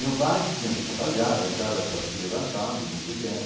Meu pai tinha que trabalhar, a Itália estava se levantando muito bem.